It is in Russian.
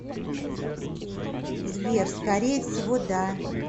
сбер скорее всего да